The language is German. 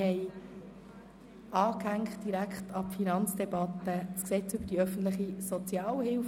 Wir haben direkt an die Finanzdebatte das Sozialhilfegesetz (SHG) angehängt.